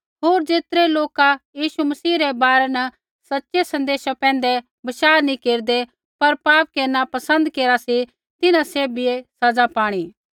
होर ज़ेतरै लोका यीशु मसीह रै बारै न सच़ै सन्देशा पैंधै बशाह नैंई केरदै पर पाप केरनै पसन्द केरा सी तिन्हां सैभियै सज़ा पाणी